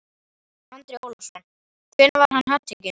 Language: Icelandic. Andri Ólafsson: Hvenær var hann handtekinn?